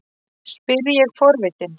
spyr ég forvitin.